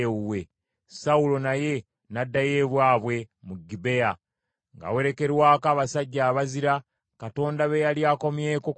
Sawulo naye n’addayo ewaabwe mu Gibea, ng’awerekerwako abasajja abazira Katonda be yali akomyeko ku mitima.